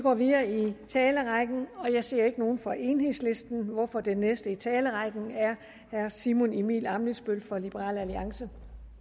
går videre i talerrækken jeg ser ikke nogen fra enhedslisten hvorfor den næste i talerrækken er herre simon emil ammitzbøll fra liberal alliance